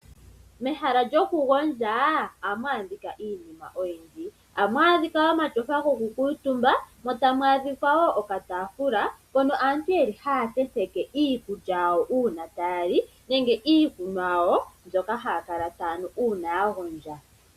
Mehala lyokugondja ohamu adhika iinima oyindji, ohamu adhika omatyofa gokukuutumba mo tamu adhika wo okataafula mpono aantu ye li haya tenteke iikulya yawo uuna taya li nenge iikunwa yawo mbyoka haya kala taya nu uuna ya gondja.